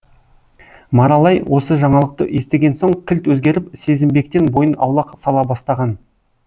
маралай осы жаңалықты естіген соң кілт өзгеріп сезімбектен бойын аулақ сала бастаған